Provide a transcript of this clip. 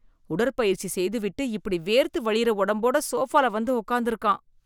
உடற்பயிற்சி செய்துவிட்டு இப்படி .வேர்த்து வழியிற உடம்போட சோபால வந்து உட்கார்ந்திருக்கான்.